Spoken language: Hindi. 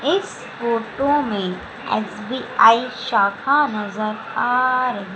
इस फोटो में एस_बी_आई शाखा नजर आ रही--